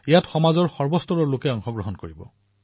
ইয়াত সমাজৰ সকলো শ্ৰেণীৰ লোক চামিল হব